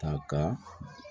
Ka kan